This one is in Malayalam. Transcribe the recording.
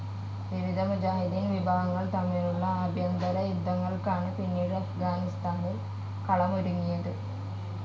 വിവിധ മുജാഹിദ്ദീൻ വിഭാഗങ്ങൾ തമ്മിലുള്ള ആഭ്യന്തര യുദ്ധങ്ങൾക്കാണ് പിന്നീട് അഫ്ഗാനിസ്ഥാനിൽ കളമൊരുങ്ങിയത്.